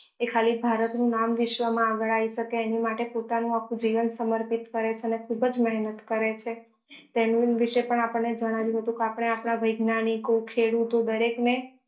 એ ખાલી ભારત નું નામ વિશ્વ માં આગળ આવી શકે એની માટે પોતાનું આખું જીવન સમર્પિત કરે છે ને ખુબ જ મહેનત કરે છે તેનું પણ જણાવી દઉં કે આપણે આપણા વૈજ્ઞાનિકો ખેડૂતઓ દરેક ને